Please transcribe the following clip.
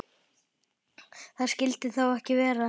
Það skyldi þó ekki vera?